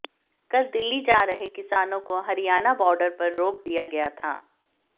कल दिल्ली जा रहे किसानों को हरियाणा बॉर्डर पर रोक दिया गया था